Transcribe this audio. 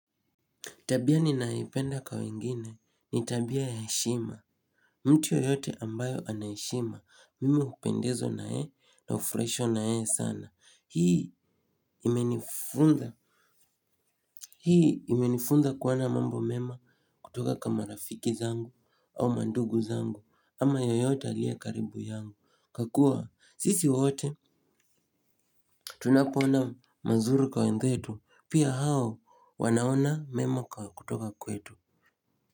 Tabia ni naipenda kwa wengine ni tabia ya heshima. Mtu yoyote ambayo anaheshima mimi hupendezwa nayeye na hufrahishwa na yeye sana hii imenifunza. Hii imenifunza kuwana mambo mema kutoka kama rafiki zangu au mandugu zangu ama yoyote alie karibu yangu kakua sisi wote. Tunapoona mazuri kwa wenzetu pia hao wanaona mema kutoka kwetu.